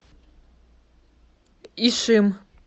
ишим